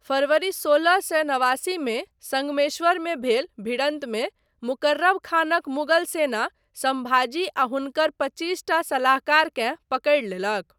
फरवरी सोलह सए नवासीमे सङ्गमेश्वरमे भेल भिड़न्तमे मुकररब खानक मुगल सेना सम्भाजी आ हुनकर पच्चीसटा सलाहकारकेँ पकड़ि लेलक।